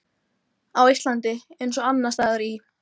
Á Íslandi, eins og annars staðar í